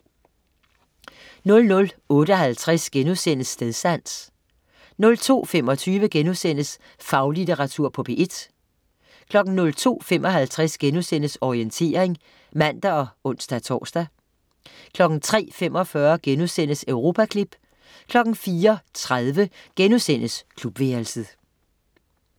00.58 Stedsans* 02.25 Faglitteratur på P1* 02.55 Orientering* (man og ons-tors) 03.45 Europaklip* 04.30 Klubværelset*